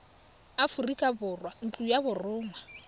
aforika borwa ntlo ya borongwa